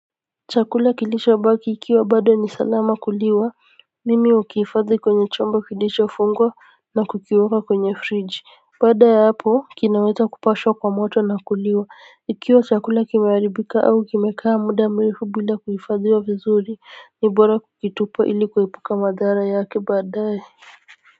Chakula kilicho baki ikiwa bado ni salama kuliwa mimi ukihifadhi kwenye chombo kilicho fungwa na kukiweka kwenye fridge baada ya hapo kinaweza kupashwa kwa moto na kuliwa ikiwa chakula kimehqaribika au kimekaa muda mrefu bila kuhifadhiwa vizuri ni bora kukitupa ili kuepuka madhara yake baadaye.